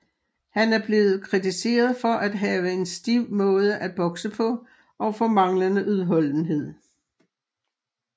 Han er blevet kritiseret for at have en stiv måde at bokse på og for manglende udholdenhed